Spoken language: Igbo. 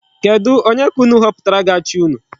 Kedu Onye ka unu họpụtara ga-achị unu?